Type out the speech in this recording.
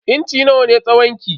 Inci nawa ne tsawon ki?